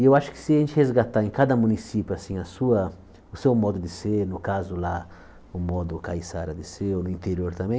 E eu acho que se a gente resgatar em cada município, assim, a sua, o seu modo de ser, no caso lá, o modo caiçara de ser, ou no interior também,